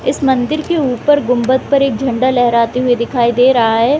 इस मंदिर के ऊपर गुंबद पर एक झंडा लहराते हुए दिखाई दे रहा है।